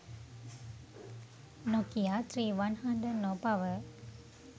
nokia 3100 no power